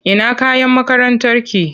Ina kayan makarantarki?